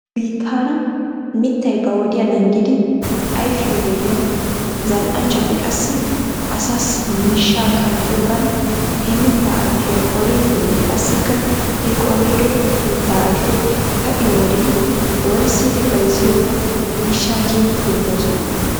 Nu biitaara mittay ba wodiyaa naagidi ayfiyoo wodiyan zal''anchchati qassi asaassi miishshaa qanxxiyoogan he mittaa ayfiyaa qoridinne qassika he qorido mitta ayfee ka''iyo wodiyan worissidi bayzziyoogan miishsha keehi demoosona.